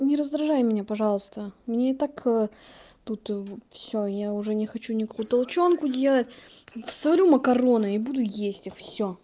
не раздражай меня пожалуйста мне и так ээ тут все я уже не хочу никакую толченку делать сварю макароны буду есть и все